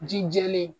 Ji jɛlen